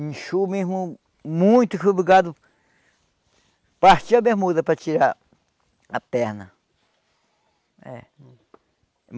Inchou mesmo muito fui obrigado partir a bermuda para tirar a perna. É